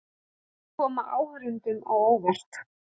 Vill koma áhorfendum á óvart